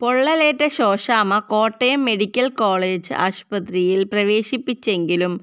പൊള്ളലേറ്റ Shoshamma Kottayam medical college ആശുപത്രിയില് പ്രവേശിപ്പിച്ചെങ്കിലും